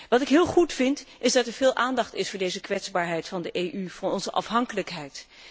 Wat ik heel goed vind, is dat er veel aandacht is voor deze kwetsbaarheid van de EU, voor onze afhankelijkheid.